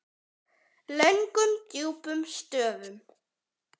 Löngum djúpum stöfum.